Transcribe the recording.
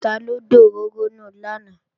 Taló dòróró nù lánàá?